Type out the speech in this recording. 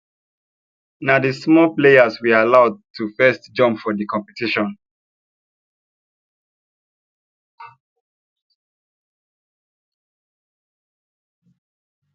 na the small players we allow to firrst jump for the competition